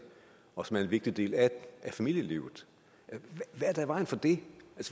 og som er en vigtig del af familielivet hvad er der i vejen for det